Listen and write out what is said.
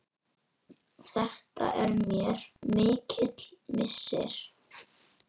Þetta er mér mikill missir.